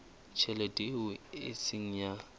tjhelete eo e seng ya